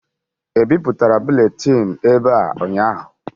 E bipụtara buletin ebe a ụnyaahụ?